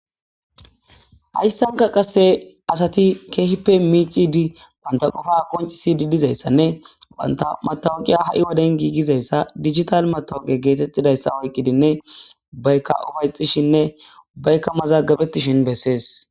Hayisanika qasi michidi banita qopa qonicises dizaysanee banta matoqiya hai woden gigizaysa dijital matoqiya oyikidinee ubayika upayetishe ubayka mazagabetishin beses